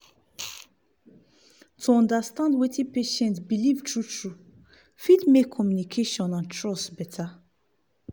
to understand wetin patient believe true true fit make communication and trust better.